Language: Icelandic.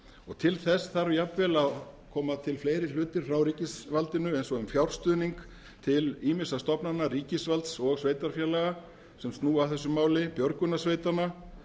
og til þess þarf jafnvel að koma til fleiri hlutir frá ríkisvaldinu eins og um fjárstuðning til ýmissa stofnana ríkisvalds og sveitarfélaga án snúa að þessu máli björgunarsveitanna